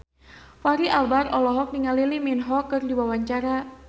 Fachri Albar olohok ningali Lee Min Ho keur diwawancara